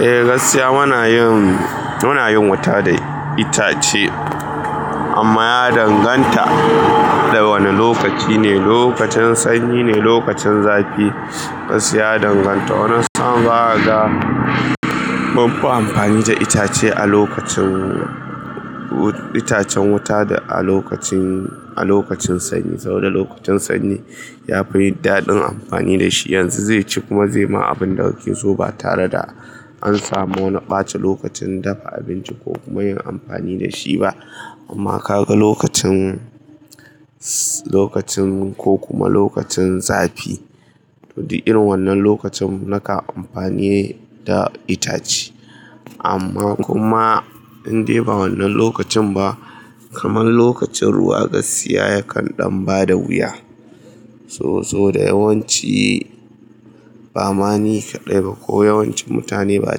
Eh gaskiya muna yin wuta da itace amma ya danganta da wane lokaci ne, lokacin sanyi ne lokacin zafi. Gaskiya ya danganta, wannan sa'an ba a ga mufi amfani da itace a lokacin itacen wuta da a lokacin sanyi saboda lokacin sanyi yafi yi daɗin amfani da shi. Yanzu zai ci kuma zai ma abin da kake so ba tare da an samu na ɓace lokacin dafa abinci ko kuma yin amfani da shi ba amma ka ga lokacin ko kuma lokacin zafi to din irin wannan lokacin naka amfani da itace amma kuma indai ba wannan lokacin ba kaman lokacin ruwa gaskiya yakan ɗan bada wuya. So da yawanci ba mani kaɗai ba ko yawancin mutane ba a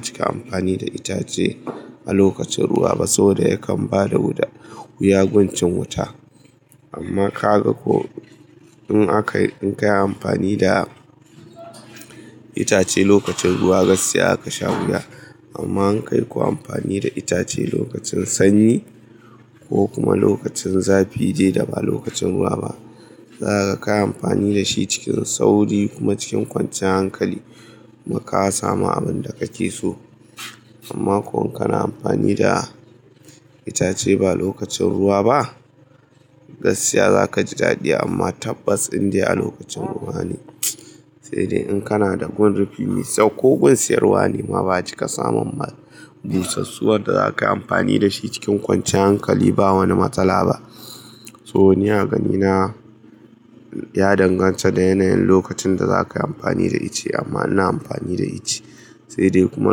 cika amfani da itace a lokacin ruwa ba saboda yakan bada wuya gun cin wuta amma ka ga ko in a kai in kai amfani da itace lokacin ruwa gaskiya zaka sha wuya amma in kai ko amfani da itace lokacin sanyi ko kuma lokacin zafi dai da ba lokacin ruwa ba, za ka ga ka yi amfani da shi cikin sauri kuma cikin kwancin hankali kuma ka samu abin da kake so. Amma ko in kana amfani da itace ba lokacin ruwa ba, gaskiya zaka ji daɗi amma tabbas indai lokacin ruwa ne. Sai dai in kana da gun rufi mai sauƙi ko gun siyarwa ne ma ba cika samun busassuwar wadda zakayi amfani da shi cikin kwancin hankali ba wani matsala ba. To ni a ganina ya danganta da yanayin lokacin da za ka yi amfani da ice amma ina amfani da ice sai dai kuma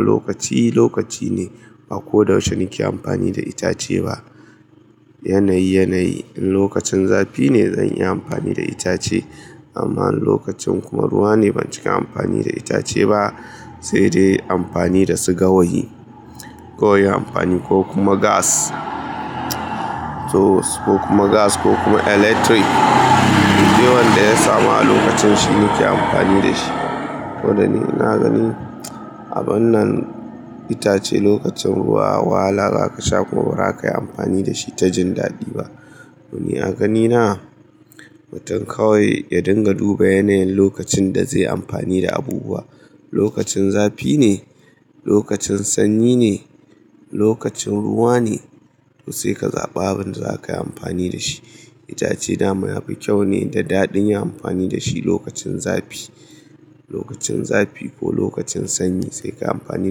lokaci lokaci ne. Ba ko da yaushe nake amfani da itace ba, yanayi yanayi. In lokacin zafi ne zan yi amfani da itace amma in lokacin kuma ruwa ne ban cika amfani da itace ba sai dai amfani da su gawayi ko yi amfani ko kuma gas to ko kuma gas ko kuma electric. Dai wanda ya samu a lokacin shi nake amfani da shi. Ko da ni ina ganin abun nan itace lokacin ruwa wahala zaka sha kuma ba za kai amfani da shi ta jin daɗi ba. To ni a ganina mutum kawai ya dinga duba yanayin lokacin da zai yi amfani da abubuwa. Lokacin zafi ne? Lokacin sanyi ne? Lokacin ruwa ne? To sai ka zaɓa abin da za kai amfani da shi. Itace dama yafi kyau ne da daɗin yin amfani da shi lokacin zafi. Lokacin zafi ko lokacin sanyi sai ka yi amfani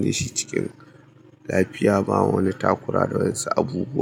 da shi cikin lafiya ba wani takura da wayyan su abubawa.